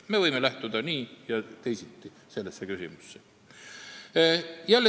Me võime suhtuda sellesse nii ja teisiti.